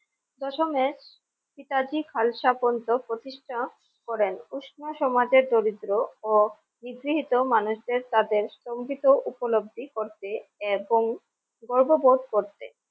প্রশমে পিতাজি খালসা পর্যন্ত প্রতিষ্ঠা করেন উষ্ণ সমাজের দরিদ্র ও ইস জি হি তো মানুষের তাদের স্তম্ বিহিত উপলব্ধি করতে এবং গর্ববোধ করতে।